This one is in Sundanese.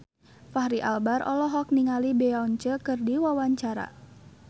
Fachri Albar olohok ningali Beyonce keur diwawancara